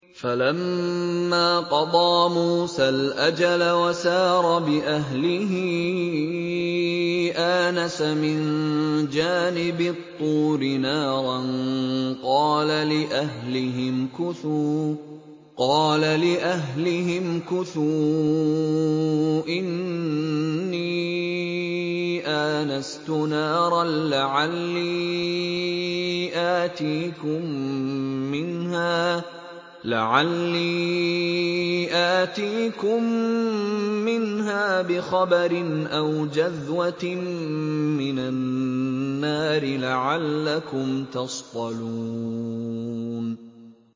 ۞ فَلَمَّا قَضَىٰ مُوسَى الْأَجَلَ وَسَارَ بِأَهْلِهِ آنَسَ مِن جَانِبِ الطُّورِ نَارًا قَالَ لِأَهْلِهِ امْكُثُوا إِنِّي آنَسْتُ نَارًا لَّعَلِّي آتِيكُم مِّنْهَا بِخَبَرٍ أَوْ جَذْوَةٍ مِّنَ النَّارِ لَعَلَّكُمْ تَصْطَلُونَ